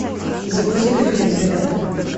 загрузи ка фильм зверята